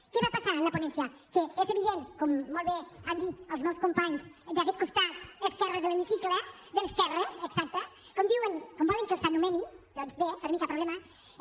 què va passar en la ponència que és evident com molt bé han dit els meus companys d’aquest costat esquerre de l’hemicicle de l’esquerra exacte com volen que els anomeni doncs bé per mi cap problema